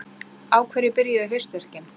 Á hverju byrjuðu haustverkin?